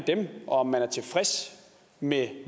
og om man er tilfreds med